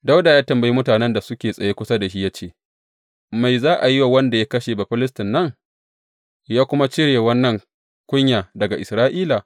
Dawuda ya tambayi mutanen da suke tsaye kusa da shi ya ce, Me za a yi wa wanda ya kashe Bafilistin nan, ya kuma cire wannan kunya daga Isra’ila?